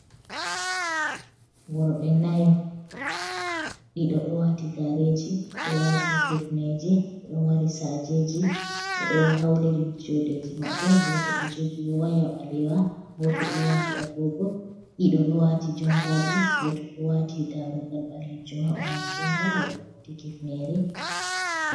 Worɓe nayo, ɗiɗo ɗo wati gareji ɗo wati hifneje ɗo mari sajeji ɓedo hauti juɗeji maɓɓe" Goto ɗo jogi waya ɓalewa, Goto ɗo wati agogo, Ɗiɗo ɗo wati jompaji, Goto ɗo wati darugal ɓalewal ha ɓandu jompa be hifnere.